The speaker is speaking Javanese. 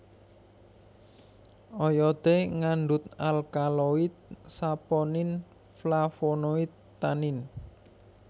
Oyodé ngandhut alkaloid saponin flavonoid tanin